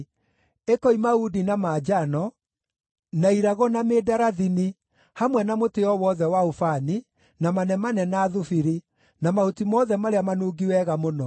ĩkoima uundi na manjano, na irago na mĩndarathini, hamwe na mũtĩ o wothe wa ũbani, na manemane na thubiri, na mahuti mothe marĩa manungi wega mũno.